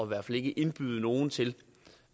hvert fald ikke indbyde nogen til